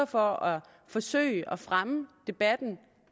for at forsøge at fremme debatten